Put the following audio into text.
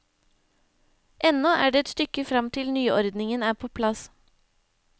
Ennå er det et stykke frem til nyordningen er på plass.